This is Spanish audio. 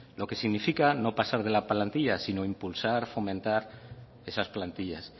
lo que significa no pasar de la plantilla sino impulsar fomentar esas plantillas